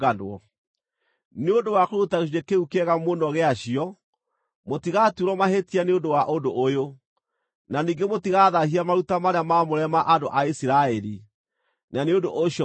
Nĩ ũndũ wa kũruta gĩcunjĩ kĩu kĩega mũno gĩacio, mũtigaatuĩrwo mahĩtia nĩ ũndũ wa ũndũ ũyũ; na ningĩ mũtigathaahia maruta marĩa maamũre ma andũ a Isiraeli, na nĩ ũndũ ũcio mũtigaakua.’ ”